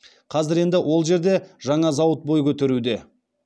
қазір енді ол жерде жаңа зауыт бой көтеруде